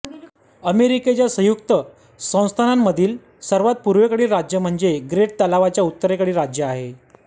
अमेरिकेच्या संयुक्त संस्थानाच्यमधील सर्वात पूर्वेकडील राज्य म्हणजे ग्रेट तलावाच्या उत्तरेकडील राज्य आहे